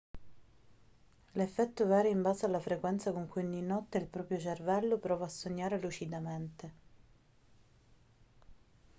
l'effetto varia in base alla frequenza con cui ogni notte il proprio cervello prova a sognare lucidamente